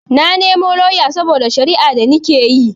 Na nemo lauya saboda shara'a da nikeyi